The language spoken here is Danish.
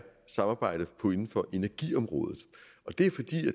samarbejdet inden for energiområdet det er fordi